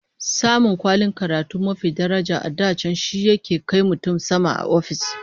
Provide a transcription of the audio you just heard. Samun kwalin karatu mafi daraja a da can shi yake kai mutum sama a ofis